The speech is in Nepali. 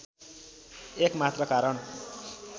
एक मात्र कारण